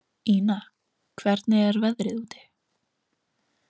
Ína, hvernig er veðrið úti?